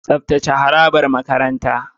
Tsaftace harabar makarantar.